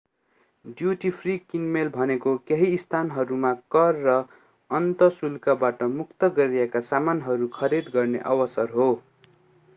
duty free किनमेल भनेको केही स्थानहरूमा कर र अन्तःशुल्कबाट मुक्त गरिएका सामानहरू खरिद गर्ने अवसर हो